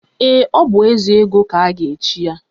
Ee, ọ bụ Ezego ka a ga-echi ya.